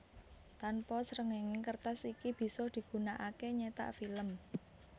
Tanpa srengenge kertas iki bisa digunakake nyetak film